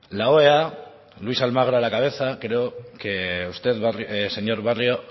la oea luis almagro a la cabeza creo que usted señor barrio